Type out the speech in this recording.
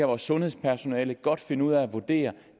vores sundhedspersonale godt kan finde ud af at vurdere det